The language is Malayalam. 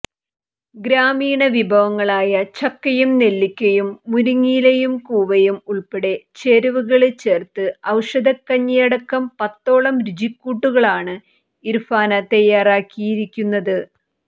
ഗ്രാമീണ വിഭവങ്ങളായ ചക്കയും നെല്ലിക്കയും മുരിങ്ങയിലയും കുവ്വയും ഉള്പ്പെടെ ചേരുവകള് ചേര്ത്ത് ഔഷധക്കഞ്ഞിയടക്കം പത്തോളം രുചി കൂട്ടുകളാണ് ഇര്ഫാന തയ്യാറാക്കിയിരിക്കുന്നത്